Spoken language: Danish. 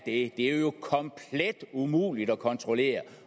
det er jo komplet umuligt at kontrollere